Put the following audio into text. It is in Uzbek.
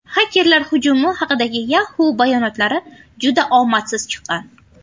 Xakerlar hujumi haqidagi Yahoo bayonotlari juda omadsiz chiqqan.